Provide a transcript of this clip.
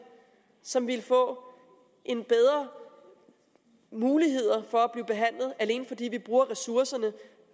som vil få en bedre mulighed for at blive behandlet alene fordi vi bruger ressourcerne